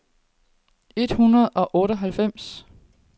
et hundrede og otteoghalvfems